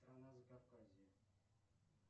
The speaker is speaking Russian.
страна закавказье